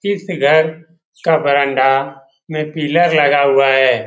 इस घर का बरांडा में पिलर लगा हुआ है।